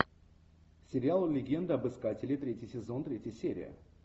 сериал легенда об искателе третий сезон третья серия